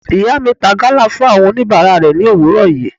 Ìyá mi ta gala fún àwọn oníbàárà rẹ̀ ni òwúrọ̀ yìí.